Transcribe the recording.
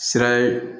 Sira ye